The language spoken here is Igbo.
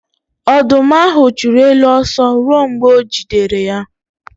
Ọdụm ahụ chụrụ ele ọsọ ruo mgbe o jidere ya.